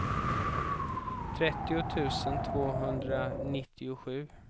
trettio tusen tvåhundranittiosju